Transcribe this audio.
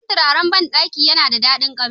Sabon turaren banɗakin yana da daɗin kamshi.